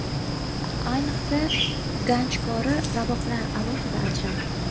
Ayniqsa, ganchkori ravoqlar alohida ajralib turadi.